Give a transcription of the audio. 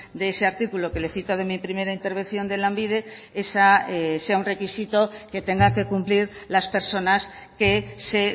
de ese artículo que le cito de mi primera intervención de lanbide sea un requisito que tenga que cumplir las personas que se